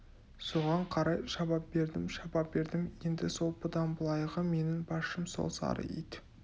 соған қарай шаба бердім шаба бердім енді сол бұдан былайғы менің басшым сол сары ит